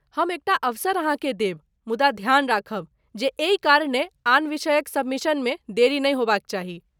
हम एकटा अवसर अहाँकेँ देब, मुदा ध्यान राखब जे एहि कारणे आन विषयक सबमिशनमे देरी नहि होबाक चाही।